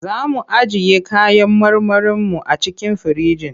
Za mu ajiye kayan marmarinmu a cikin firinji.